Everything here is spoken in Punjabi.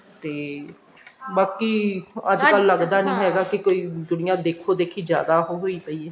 ਤੇ ਬਾਕੀ ਅੱਜਕਲ ਲੱਗਦਾ ਨੀ ਹੈਗਾ ਕਿ ਕਈ ਦੁਨੀਆ ਦੇਖੋ ਦੇਖੀ ਜਿਆਦਾ ਹੋ ਪਈ ਏ